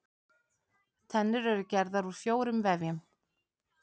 Tennur eru gerðar úr fjórum vefjum.